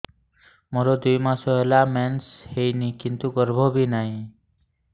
ମୋର ଦୁଇ ମାସ ହେଲା ମେନ୍ସ ହେଇନି କିନ୍ତୁ ଗର୍ଭ ବି ନାହିଁ